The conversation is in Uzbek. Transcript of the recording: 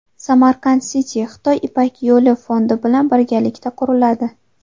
Samarkand City Xitoy Ipak yo‘li fondi bilan birgalikda quriladi.